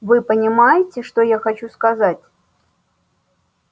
вы понимаете что я хочу сказать